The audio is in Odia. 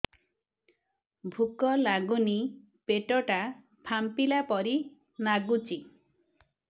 ଭୁକ ଲାଗୁନି ପେଟ ଟା ଫାମ୍ପିଲା ପରି ନାଗୁଚି